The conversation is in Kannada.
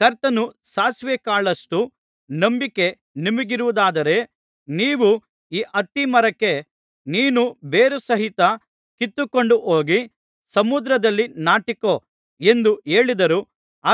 ಕರ್ತನು ಸಾಸಿವೇ ಕಾಳಷ್ಟು ನಂಬಿಕೆ ನಿಮಗಿರುವುದಾದರೆ ನೀವು ಈ ಅತ್ತಿಮರಕ್ಕೆ ನೀನು ಬೇರುಸಹಿತ ಕಿತ್ತುಕೊಂಡುಹೋಗಿ ಸಮುದ್ರದಲ್ಲಿ ನಾಟಿಕೊ ಎಂದು ಹೇಳಿದರೂ